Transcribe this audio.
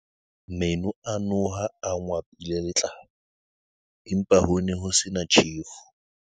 Meno a noha a ngwapile letlalo, empa ho ne ho se na tjhefu.